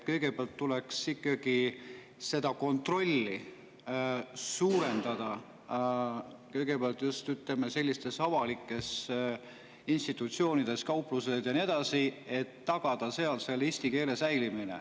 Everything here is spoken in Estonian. Kõigepealt tuleks ikkagi seda kontrolli suurendada, kõigepealt just, ütleme, sellistes avalikes institutsioonides, kauplustes ja nii edasi, et tagada seal eesti keele säilimine.